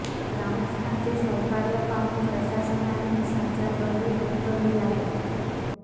ग्रामस्थांचे सहकार्य पाहून प्रशासनाने संचारबंदी उठवली आहे